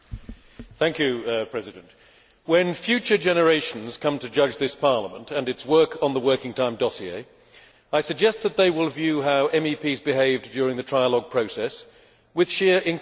Madam President, when future generations come to judge this Parliament and its work on the working time dossier, I suggest that they will view how MEPs behaved during the trialogue process with sheer incredulity.